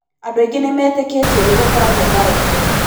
Andũ aingĩ nĩ metĩkĩtie nĩ gũkoragwo na roho